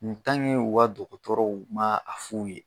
u ka dɔgɔtɔrɔw ma a f'u ye.